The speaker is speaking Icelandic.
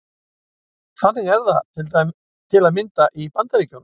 Þannig er það til að mynda í Bandaríkjunum.